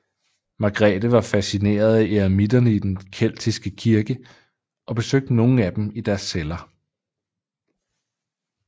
Margrethe var fascineret af eremitterne i den keltiske kirke og besøgte nogle af dem i deres celler